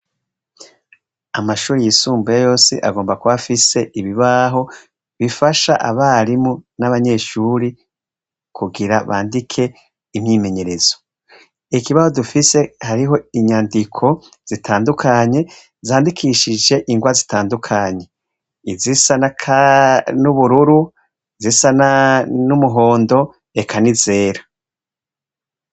Amashuri yisumbuye yosi agomba kubafise ibibaho bifasha abarimu n'abanyeshuri kugira bandike imyimenyerezo ikibaho dufise hariho inyandiko zitandukanye zandikishije ingwa zitandukanye izisa na kare ni ubururu zisana n'umuhondo eka nizera.